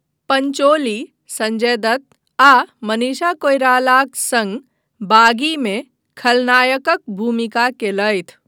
पंचोली संजय दत्त आ मनीषा कोइरालाक सङ्ग 'बागी' मे खलनायकक भूमिका कयलथि।